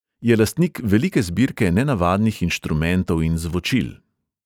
Je lastnik velike zbirke nenavadnih inštrumentov in zvočil.